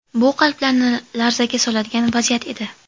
Bu qalblarni larzaga soladigan vaziyat edi.